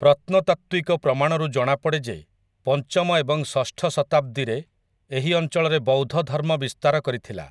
ପ୍ରତ୍ନତାତ୍ତ୍ୱିକ ପ୍ରମାଣରୁ ଜଣାପଡ଼େ ଯେ ପଞ୍ଚମ ଏବଂ ଷଷ୍ଠ ଶତାବ୍ଦୀରେ ଏହି ଅଞ୍ଚଳରେ ବୌଦ୍ଧ ଧର୍ମ ବିସ୍ତାର କରିଥିଲା ।